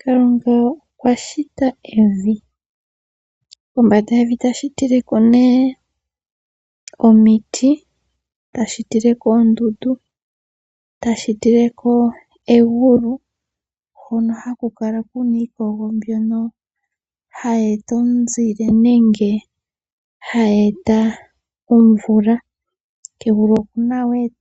Kalunga okwa shita evi kombanda yevi eta shitileko omiti, oondundu oshowo egulu noho haku kala kuna iikogo mbyono hayi eto omunzile nenge omvula, oonyodhi,